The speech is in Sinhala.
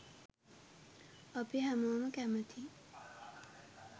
අපි හැමොම කැමතියි